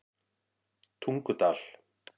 Tungudal